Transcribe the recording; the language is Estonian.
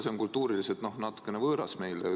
See on kultuuriliselt meile natukene võõras.